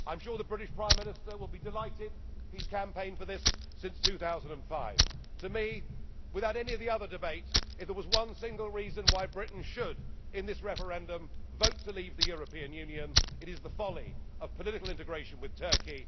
taken. I am sure the British Prime Minister will be delighted. He has campaigned for this since 2005. To me, without any of the other debates, if there was one single reason why Britain should in this referendum vote to leave the European Union, it is the folly of political integration with